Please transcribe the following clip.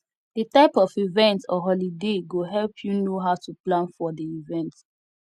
the type of event or holiday go help you know how to plan for di event